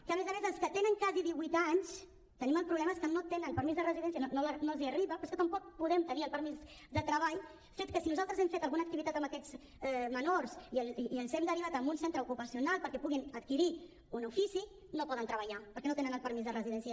que a més a més els que tenen gairebé divuit anys el problema és que no tenen permís de residència no els arriba però és que tampoc podem tenir el permís de treball i si nosaltres hem fet alguna activitat amb aquests menors i els hem derivat a un centre ocupacional perquè puguin adquirir un ofici no poden treballar perquè no tenen el permís de residència